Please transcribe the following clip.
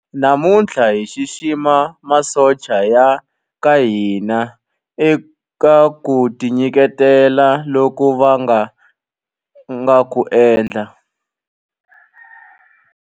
Namuntlha hi xixima masocha ya ka hina eka ku tinyiketela loku va nga ku endla.